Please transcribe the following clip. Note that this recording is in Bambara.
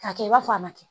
K'a kɛ i b'a fɔ a ma